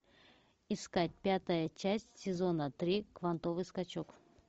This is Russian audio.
искать пятая часть сезона три квантовый скачок